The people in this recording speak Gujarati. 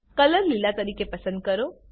કલર લીલા તરીકે પસંદ કરો